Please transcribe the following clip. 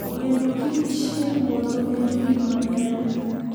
Neno kiche puodho en gima ber.